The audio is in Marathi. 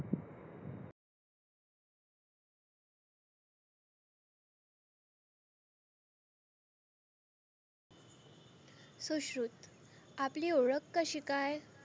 सुश्रुत आपली ओळख कशी काय?